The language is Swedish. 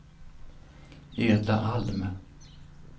Edla Alm